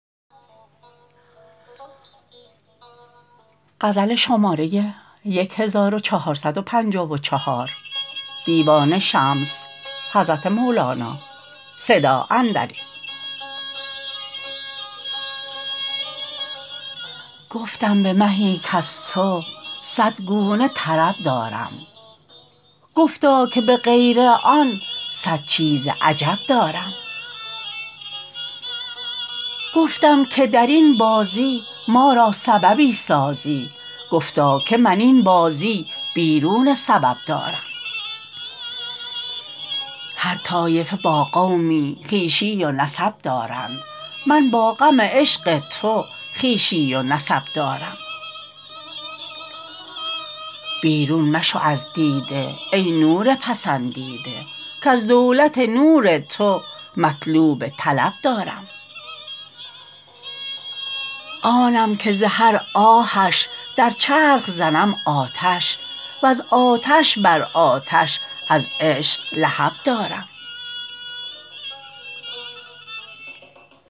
گفتم به مهی کز تو صد گونه طرب دارم گفتا که به غیر آن صد چیز عجب دارم گفتم که در این بازی ما را سببی سازی گفتا که من این بازی بیرون سبب دارم هر طایفه با قومی خویشی و نسب دارند من با غم عشق تو خویشی و نسب دارم بیرون مشو از دیده ای نور پسندیده کز دولت نور تو مطلوب طلب دارم آنم که ز هر آهش در چرخ زنم آتش وز آتش بر آتش از عشق لهب دارم